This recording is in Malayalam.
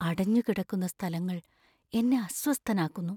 അടഞ്ഞു കിടക്കുന്ന സ്ഥലങ്ങൾ എന്നെ അസ്വസ്ഥനാക്കുന്നു.